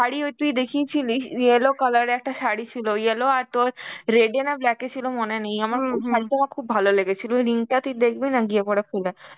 শাড়ি ওই তুই দেখিয়েছিলি yellow color এর একটা শাড়ি ছিল, yellow আর তোর red এ না black এ ছিল মনে নেই আমার ওই শাড়িটাও আমার খুব ভালো লেগেছিল. ওই link টা তুই দেখবি না গিয়ে পরে খুলে